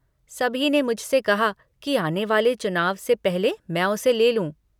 सभी ने मुझ से कहा कि आने वाले चुनाव से पहले मैं उसे ले लूँ।